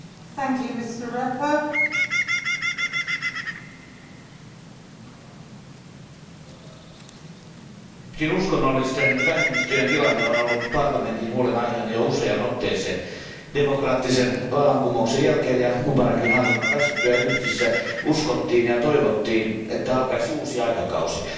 Arvoisa puhemies, uskonnollisten vähemmistöjen tila on ollut Euroopan parlamentin huolenaiheena jo useaan otteeseen. Demokraattisen vallankumouksen jälkeen ja Mubarakin hallinnon väistyttyä Egyptissä uskottiin ja toivottiin, että alkaisi uusi aikakausi.